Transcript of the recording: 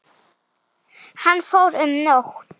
Hann fór um nótt.